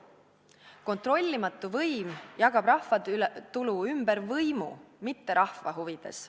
Kontrollimatu võim jagab rahvatulu ümber võimu, mitte rahva huvides.